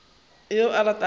go yo a ratago go